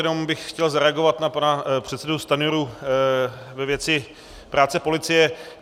Jenom bych chtěl zareagovat na pana předsedu Stanjuru ve věci práce policie.